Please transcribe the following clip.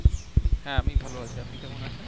হ্যাঁ আমি ভালো আছি আপনি কেমন আছেন?